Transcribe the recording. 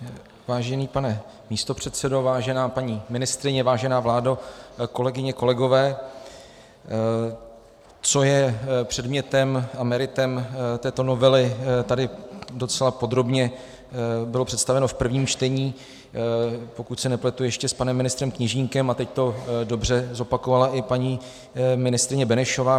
Vážený pane místopředsedo, vážená paní ministryně, vážená vládo, kolegyně, kolegové, co je předmětem a meritem této novely, tady docela podrobně bylo představeno v prvním čtení, pokud se nepletu, ještě s panem ministrem Kněžínkem, a teď to dobře zopakovala i paní ministryně Benešová.